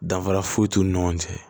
Danfara foyi t'u ni ɲɔgɔn cɛ